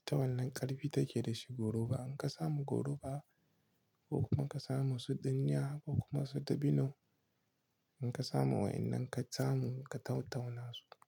Ita wannan ƙarfi take da shi goru ba. In ka samu goru ba ko kuma ka samu su dinya ko kuma su dabino, in ka samu wa'innan ka samu ka tau-tauna su.